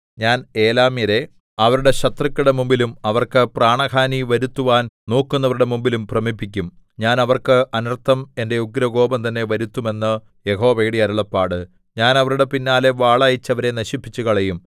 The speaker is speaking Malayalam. ഞാൻ ഏലാമ്യരെ അവരുടെ ശത്രുക്കളുടെ മുമ്പിലും അവർക്ക് പ്രാണഹാനി വരുത്തുവാൻ നോക്കുന്നവരുടെ മുമ്പിലും ഭ്രമിപ്പിക്കും ഞാൻ അവർക്ക് അനർത്ഥം എന്റെ ഉഗ്രകോപം തന്നെ വരുത്തും എന്ന് യഹോവയുടെ അരുളപ്പാട് ഞാൻ അവരുടെ പിന്നാലെ വാൾ അയച്ച് അവരെ നശിപ്പിച്ചുകളയും